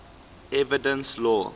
evidence law